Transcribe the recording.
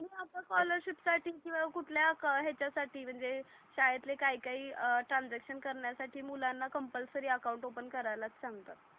हो स्कॉलरशिप साठी किवा कुठल्या याच्यासाठी म्हणजे शाळेतले काही काही ट्रान्सॅक्शन करण्यासाठी मुलांना कम्पलसरी अकाउंट ओपन करायलाच सांगतात.